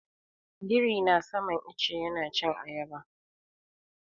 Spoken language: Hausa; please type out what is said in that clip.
Birin na saman ice yana cin ayaba.